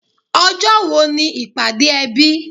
Ọjọ́ wo ni ìpàdé ẹbí?